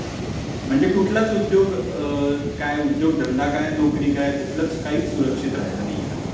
म्हण जे कुठलाच उपयोग काय, कुठलाच उद्योगधंदा काय काहीच सुरक्षित राहिलं नाहीये हल्ली.